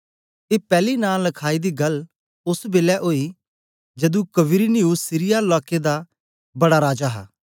ए पैली नां लखाई दी गल्ल ओस बेलै ओई जदू क्विरिनियुस सीरिया लाकें दा बड़ा राजा हा